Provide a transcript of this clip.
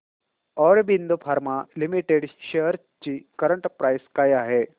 Aurobindo pharma limited shares ची current price काय आहे